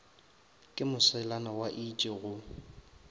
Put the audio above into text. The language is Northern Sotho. ke moselana wa itše go